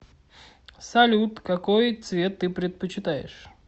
салют какой цвет ты предпочитаешь